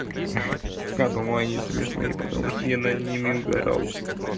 хе я думаю они смешные потому что я над ними угорал